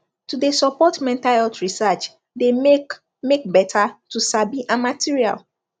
to de support mental health research de make make better to sabi and material